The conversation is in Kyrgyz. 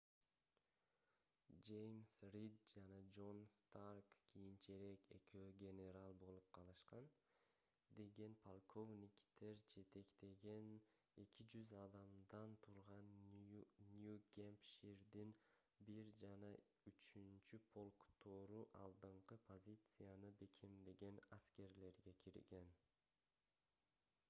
жеймс рид жана джон старк кийинчерээк экөө генерал болуп калышкан деген полковниктер жетектеген 200 адамдан турган нью-гэмпширдин 1 жана 3-полктору алдыңкы позицияны бекемдеген аскерлерге кирген